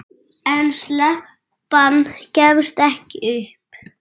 En stelpan gafst ekki upp.